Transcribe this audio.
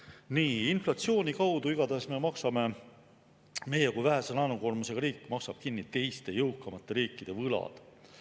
Nii, igatahes inflatsiooni kaudu me maksame, meie kui vähese laenukoormusega riik maksab kinni teiste jõukamate riikide võlad.